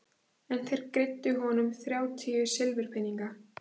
En þeir greiddu honum þrjátíu silfurpeninga.